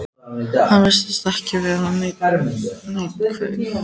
Hann virtist ekki vera nein kveif?